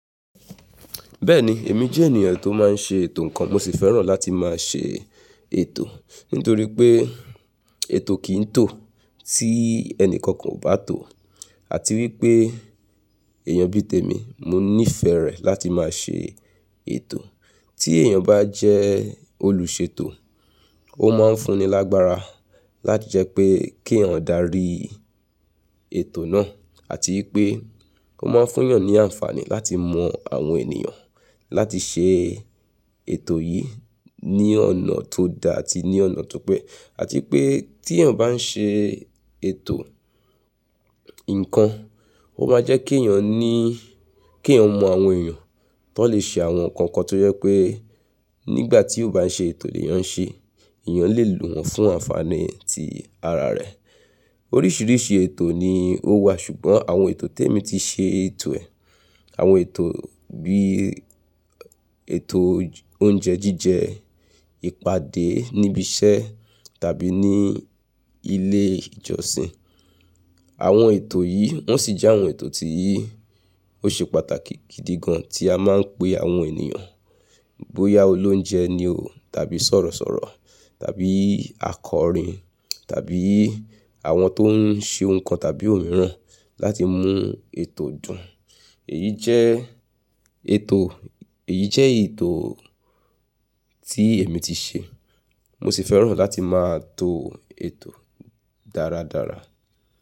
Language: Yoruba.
Bẹ́ẹ̀ni, èmi jẹ́ ènìyàn tó máa ń ṣe ètò nǹkan, mo sì fẹ́ràn láti máa ṣe ètò. Nítorí pé ètò kì í tó tí ẹni kankan ò bá tò ó, àti wípé èèyàn bíi tèmi, mo nífẹ̀ẹ́ rẹ̀ láti máa ṣe ètò. Tí èèyàn bá jẹ́ olùṣètò, ó máa ń fún ni lágbára láti jẹ́ pé kí eeyan darí ètò náà, àti wípé ó máa ń fún èèyàn ní àǹfààní láti mọ àwọn ènìyàn láti ṣe ètò yìí ní ọ̀nà tó da àti ní ọ̀nà tó pé. Àti pé tí èèyàn bá ń ṣe ètò nǹkan, ó máa jẹ́ kí èèyàn ní, kí èèyàn mọ àwọn èèyàn tó n lè ṣe àwọn nǹkan kan tó jẹ pé nígbà tí ó bá ń ṣe ètò lè eeyàn ṣe, èèyàn lè lò wọ́n fún àǹfààní ti ara rẹ̀. Oríṣiríṣi ètò ni ó wà, ṣùgbọ́n àwọn ètò tèmi ti ṣe ètò ẹ̀. Àwọn ètò bí ètò oúnjẹ jíjẹ, ìpàdé níbi iṣẹ́ tàbí ní ilé ìjọsìn. Àwọn ètò yìí wọ́n sì jẹ́ àwọn ètò tí ó ṣe pàtàkì gidi gan tí a máa ń pé àwọn ènìyàn bóyá olóunjẹ ni o tàbí sọ̀rọ̀sọ̀rọ̀ tàbí akọrin tàbí àwọn tó ń ṣe nǹkan tàbí òmíràn láti mú ètò dùn. Èyí jẹ́ ètò, èyí jẹ́ ètò tí èmi ti ṣe. Mo sì fẹ́ràn láti máa to ètò dáradára.